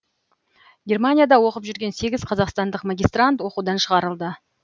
германияда оқып жүрген сегіз қазақстандық магистрант оқудан шығарылды